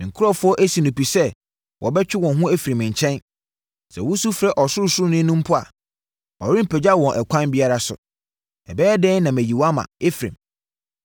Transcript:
Me nkurɔfoɔ asi no pi sɛ wɔbɛtwe wɔn ho afiri me nkyɛn. Sɛ wosu frɛ Ɔsorosoroni no mpo a ɔrempagya wɔn ɛkwan biara so.